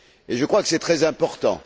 Je crois que c'est très important.